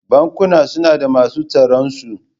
Bankuna suna da masu tsaronsu.